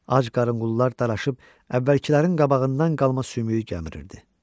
Ac qarınqulllar daraşıb əvvəlkilərin qabağından qalma sümüyü gəmirirdi.